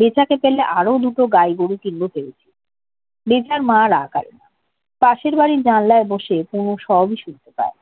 বেতাকে পেলে আরও দুটো গাই গরু কিনব ভেবেছে। বেতার মায়ের আকাল পাশের বাড়ির জানালায় বসে কুমু সবই শুনতে পায়।